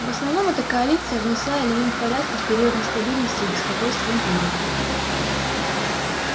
в основном эта коалиция внесла элемент порядка в период нестабильности и беспокойства в империи